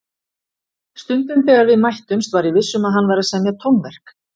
Stundum þegar við mættumst var ég viss um að hann væri að semja tónverk.